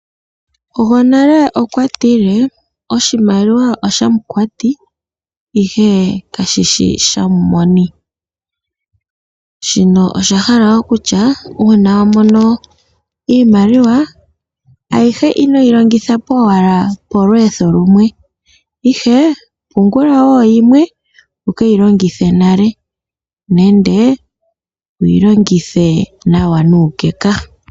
Gonale okwa tile oshimaliwa oshakwati ihe kashishi shamoni, shino osha hala okutya una wamono iimaliwa ayihe inoyi longithapo owala polwetho lumwe ihe pungula wo yimwe wukeyi longithe nale nenge wuyilongithe nawa nukeka.